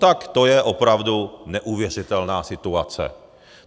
Tak to je opravdu neuvěřitelná situace.